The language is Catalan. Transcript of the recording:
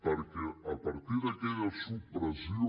perquè a partir d’aquella supressió